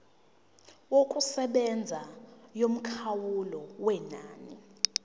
yokusebenza yomkhawulo wenani